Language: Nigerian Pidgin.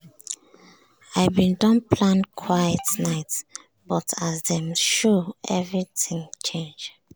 i bin don plan quiet night but as dem show everything change.